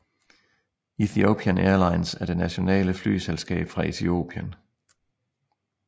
Ethiopian Airlines er det nationale flyselskab fra Etiopien